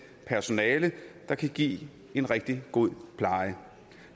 personale der kan give en rigtig god pleje